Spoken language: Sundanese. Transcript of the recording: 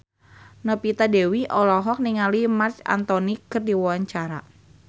Novita Dewi olohok ningali Marc Anthony keur diwawancara